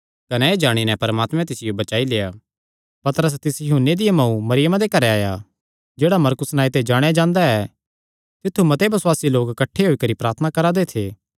कने एह़ जाणी नैं परमात्मे तिसियो बचाई लेआ ऐ पतरस तिस यूहन्ने दिया मांऊ मरियमा दे घरे आया जेह्ड़ा मरकुस नांऐ ते जाणेया जांदा ऐ तित्थु मते बसुआसी लोक किठ्ठे होई करी प्रार्थना करा दे थे